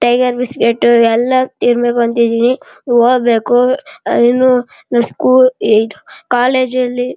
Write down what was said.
Tiger biscuit ಎಲ್ಲ ತಿನ್ಬೇಕು ಅಂತ ಇದ್ದೀನಿ. ಹೋಗ್ಬೇಕು ಅಹ್ ಇನ್ನು ನಮ ಸ್ಕೂಲ್ ಇದ್ ಕಾಲೇಜು ಅಲ್ಲಿ --